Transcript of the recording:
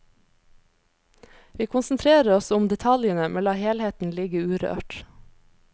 Vi konsentrerer oss om detaljene, men lar helheten ligge urørt.